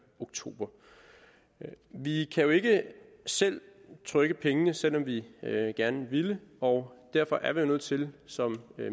oktober vi kan jo ikke selv trykke pengene selv om vi gerne ville og derfor er vi nødt til som